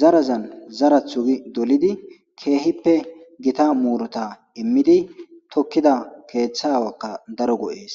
zarazan zarathu gi dolidi keehippe gita muurota immidi tokkida keeththa awakka daro go7ees